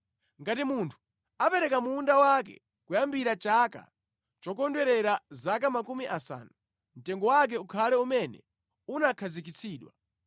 Ngati munthu apereka munda wake kuyambira chaka chokondwerera zaka makumi asanu, mtengo wake ukhale umene unakhazikitsidwa.